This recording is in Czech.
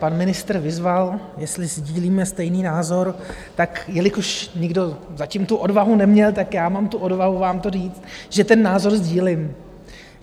Pan ministr vyzval, jestli sdílíme stejný názor, tak jelikož nikdo zatím tu odvahu neměl, tak já mám tu odvahu vám to říct, že ten názor sdílím.